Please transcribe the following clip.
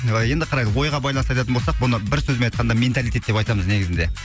енді қараңыз ойға байланысты айтатын болсақ бұны бір сөзбен айтқанда менталитет деп айтамыз негізінде